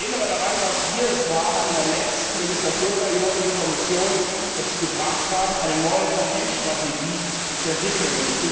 Ich erinnere daran, dass wir es waren, die in der letzten Legislaturperiode die Kommission dazu gebracht haben, eine neue Patentstrategie zu entwickeln.